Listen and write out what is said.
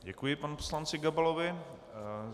Děkuji panu poslanci Gabalovi.